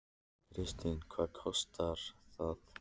Kristín: Hvað kostar það?